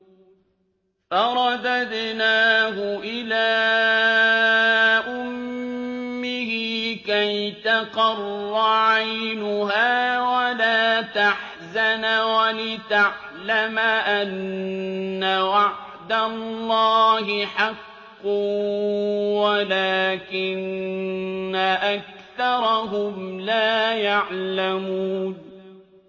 فَرَدَدْنَاهُ إِلَىٰ أُمِّهِ كَيْ تَقَرَّ عَيْنُهَا وَلَا تَحْزَنَ وَلِتَعْلَمَ أَنَّ وَعْدَ اللَّهِ حَقٌّ وَلَٰكِنَّ أَكْثَرَهُمْ لَا يَعْلَمُونَ